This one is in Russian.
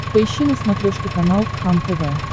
поищи на смотрешке канал кхлм тв